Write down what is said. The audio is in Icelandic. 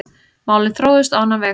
Málin þróuðust á annan veg.